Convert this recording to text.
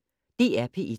DR P1